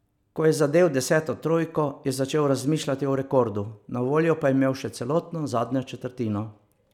Ko je zadel deseto trojko, je začel razmišljati o rekordu, na voljo pa je imel še celotno zadnjo četrtino.